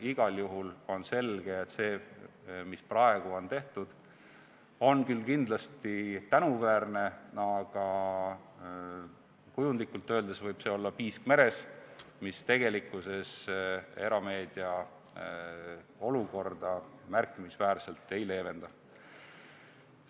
Igal juhul on selge, et see, mis praegu on tehtud, on küll kindlasti tänuväärne, aga kujundlikult öeldes võib see olla piisk meres, mis tegelikkuses erameedia olukorda märkimisväärselt ei leevenda.